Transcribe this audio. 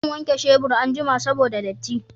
Zan wanke shebur anjima saboda datti